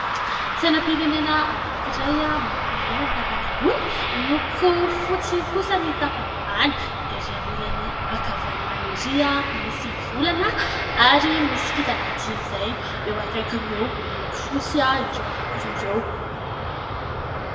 Sainam-pirenena anankiray miloko mena ny tapany ambony, miloko fotsy kosa ny tapany ambany, erỳ amin'ny ilany ankavanana erỳ misy volana ary misy kintana dimy izay eo akaikiny eo miloko fotsy ireo anankiroa ireo.